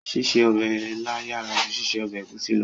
Ṣíṣe ọbẹ̀ ilá yàrá ju ṣíṣe ọbẹ̀ ẹ̀gúsí lọ